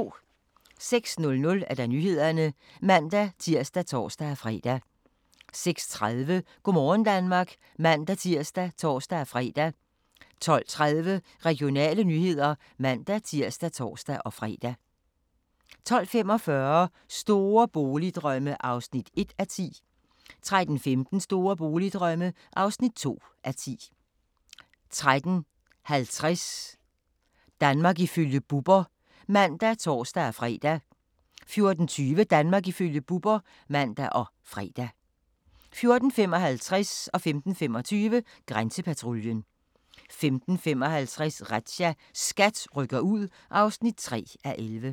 06:00: Nyhederne (man-tir og tor-fre) 06:30: Go' morgen Danmark (man-tir og tor-fre) 12:30: Regionale nyheder (man-tir og tor-fre) 12:45: Store boligdrømme (1:10) 13:15: Store boligdrømme (2:10) 13:50: Danmark ifølge Bubber (man og tor-fre) 14:20: Danmark ifølge Bubber (man og fre) 14:55: Grænsepatruljen 15:25: Grænsepatruljen 15:55: Razzia – SKAT rykker ud (3:11)